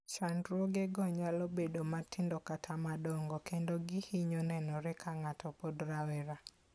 Chandruogego nyalo bedo matindo kata madongo, kendo gihinyo nenore ka ng'ato pod rawera.